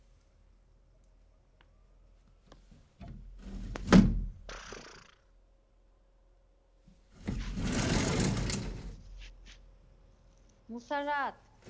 Musarrat